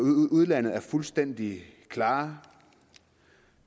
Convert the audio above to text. udlandet er fuldstændig klare